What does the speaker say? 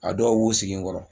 A dɔw b'u sigi n kɔrɔ